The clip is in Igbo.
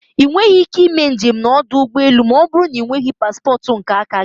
I nweghị ike ime njem na ọdụ ụgbọ elu ma ọbụrụ na ị nweghị paspotu nke aka gi